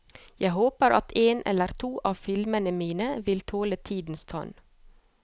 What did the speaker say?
Jeg håper at en eller to av filmene mine vil tåle tidens tann.